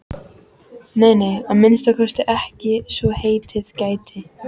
Nei, nei, að minnsta kosti ekki svo heitið gæti.